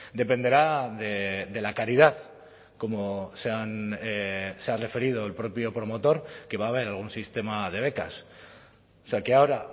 dependerá de la caridad como se ha referido el propio promotor que va a haber algún sistema de becas o sea que ahora